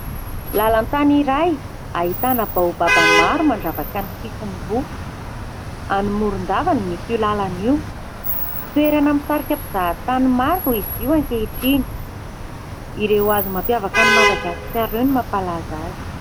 Lalan-tany iray ahitana baobab maro mandravaka ny sisiny roa ; any Morondava no misy io lalana io. Toerana mahasarika mpizahatany maro izy io ankehitriny. Ireo hazo mampiavaka an'i Madagasikara ireo no mampalaza azy.